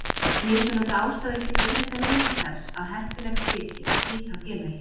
Mismunandi ástæður geta auðvitað legið til þess að heppilegt þyki að slíta félagi.